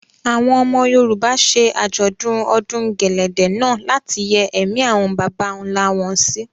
Àwọn ọmọ Yorùbá ṣe Àjọ̀dún ọdún gẹ̀lẹ̀dẹ̀ náà láti yẹ́ ẹ̀mí àwọn bàbà ńlá wọn sí.